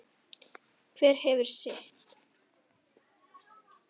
Hver hefur sitt.